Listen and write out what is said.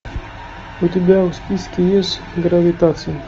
у тебя в списке есть гравитация